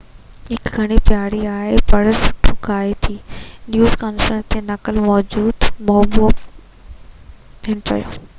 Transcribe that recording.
هي گهڻي پياري آهي ۽ پڻ سٺو ڳاهي ٿي نيوز ڪانفرنس جي نقل موجب هن چيو